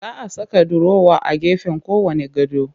Za a saka durowa a gefen kowanne gado